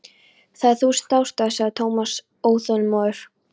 Það eru þúsund ástæður sagði Thomas óþolinmóður.